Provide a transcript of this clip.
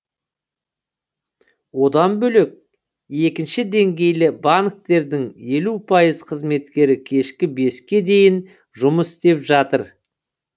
одан бөлек екінші деңгейлі банктердің елу пайыз қызметкері кешкі беске дейін жұмыс істеп жатыр